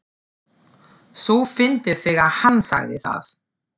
svo fyndið þegar HANN sagði það!